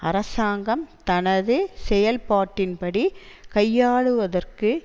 அரசாங்கம் தனது செயல்பாட்டின் படி கையாளுவதற்கு